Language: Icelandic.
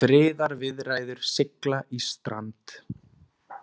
Friðarviðræður sigla í strand